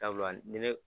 Sabula ni ne